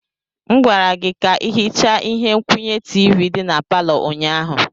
M gwara gị ka ị hichaa ihe nkwụnye tiivi dị na palọ ụnyaahụ.